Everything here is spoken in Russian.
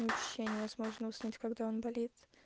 вообще невозможно уснуть когда он болит